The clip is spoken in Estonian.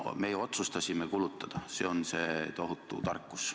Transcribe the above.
Meie otsustasime kulutada, see on see tohutu tarkus.